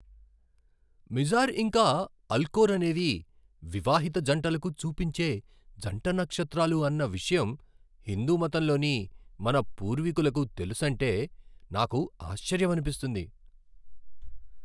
Mizar ఇంకా Alcor అనేవి వివాహిత జంటలకు చూపించే జంట నక్షత్రాలు అన్న విషయం హిందూ మతంలోని మన పూర్వీకులకు తెలుసంటే నాకు ఆశ్చర్యమనిపిస్తుంది.